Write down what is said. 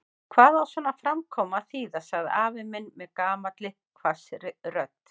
Hvað á svona framkoma að þýða? sagði afi minn með gamalli hvassri rödd.